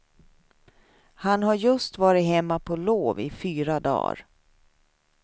Han har just varit hemma på lov i fyra dagar.